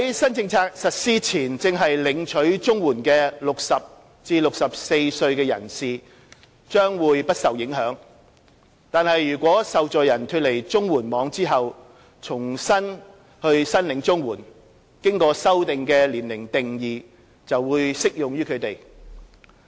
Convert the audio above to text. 新政策實施前正領取綜援的60至64歲人士將不受影響，但如果受助人脫離綜援網後重新申領綜援，經修訂的年齡定義則適用於他們。